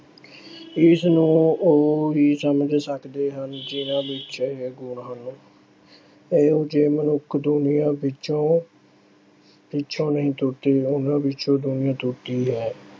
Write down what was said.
ਇਸ ਨੂੰ ਉਹ ਹੀ ਸਮਝ ਸਕਦੇ ਹਨ ਜਿਹਨਾਂ ਵਿੱਚ ਇਹ ਗੁਣ ਹਨ। ਇਹੋ ਜਿਹੇ ਮਨੁੱਖ ਦੁਨੀਆਂ ਪਿੱਛੋਂ ਅਹ ਪਿੱਛੇ ਨਹੀਂ ਤੁਰਦੇ, ਉਹਨਾਂ ਪਿੱਛੇ ਦੁਨੀਆ ਤੁਰਦੀ ਹੈ।